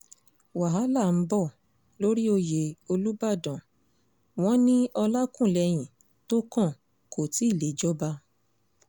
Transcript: wàhálà ń bọ̀ lórí oyè olùbàdàn wọn ní olákúlẹ́hìn tó kàn kò tí ì lè jọba